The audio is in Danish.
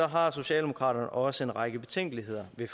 har socialdemokraterne også en række betænkeligheder ved